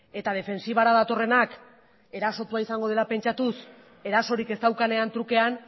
eta defentsibara datorrenak erasotua izango dela pentsatuz erasorik ez daukanean trukean